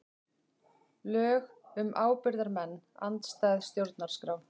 Lög um ábyrgðarmenn andstæð stjórnarskrá